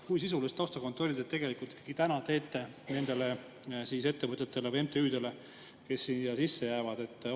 Kui sisulist taustakontrolli te tegelikult ikkagi täna teete nendele ettevõtjatele või MTÜ-dele, kes siia sisse jäävad?